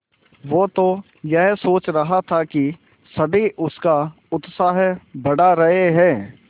वो तो यह सोच रहा था कि सभी उसका उत्साह बढ़ा रहे हैं